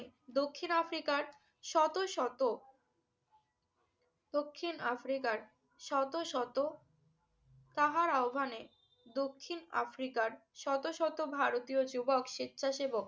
দক্ষিণ আফ্রিকার শত শত~ দক্ষিণ আফ্রিকার শত শত~ তাহার আহবানে দক্ষিণ আফ্রিকার শত শত ভারতীয় যুবক স্বেচ্ছাসেবক